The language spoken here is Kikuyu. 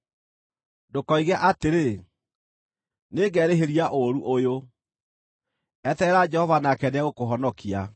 Ndũkoige atĩrĩ, “Nĩngerĩhĩria ũũru ũyũ!” Eterera Jehova nake nĩegũkũhonokia.